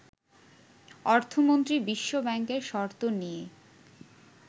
অর্থমন্ত্রী বিশ্ব ব্যাংকের শর্ত নিয়ে